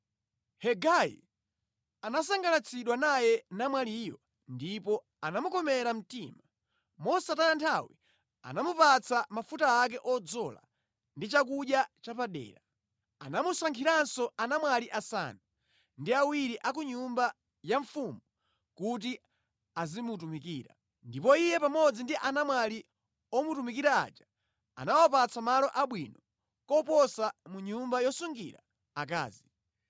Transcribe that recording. Hegai anasangalatsidwa naye namwaliyo ndipo anamukomera mtima. Mosataya nthawi anamupatsa mafuta ake odzola ndi chakudya chapadera. Anamusankhiranso anamwali asanu ndi awiri a ku nyumba ya mfumu kuti azimutumikira, ndipo iye pamodzi ndi anamwali omutumikira aja anawapatsa malo abwino koposa mʼnyumba yosungira akazi.